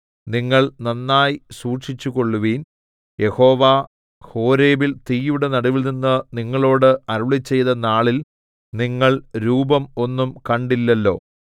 നിങ്ങൾ നന്നായി സൂക്ഷിച്ചുകൊള്ളുവിൻ യഹോവ ഹോരേബിൽ തീയുടെ നടുവിൽനിന്ന് നിങ്ങളോട് അരുളിച്ചെയ്ത നാളിൽ നിങ്ങൾ രൂപം ഒന്നും കണ്ടില്ലല്ലോ